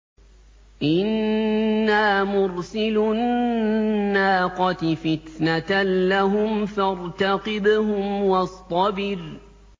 إِنَّا مُرْسِلُو النَّاقَةِ فِتْنَةً لَّهُمْ فَارْتَقِبْهُمْ وَاصْطَبِرْ